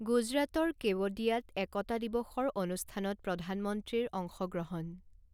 গুজৰাটৰ কেৱডিয়াত একতা দিৱসৰ অনুষ্ঠানত প্ৰধানমন্ত্ৰীৰ অংশ গ্ৰহণ